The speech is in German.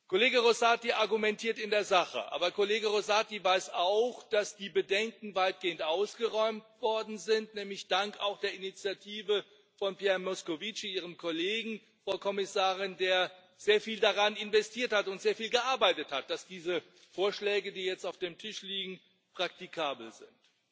Kollege Rosati argumentiert in der Sache. Aber Kollege Rosati weiß auch, dass die Bedenken weitgehend ausgeräumt worden sind, nämlich auch dank der Initiative von Pierre Moscovici Ihrem Kollegen, Frau Kommissarin der sehr viel darin investiert hat und sehr viel gearbeitet hat, dass diese Vorschläge, die jetzt auf dem Tisch liegen, praktikabel sind.